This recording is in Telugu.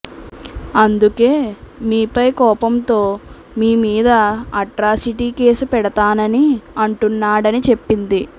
అందుకే మీపై కోపంతో మీ మీద అట్రాసిటీ కేసు పెడతానని అంటున్నాడని చెప్పింది